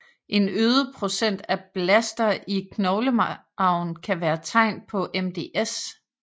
En øget procent af blaster i knoglemarven kan være et tegn på MDS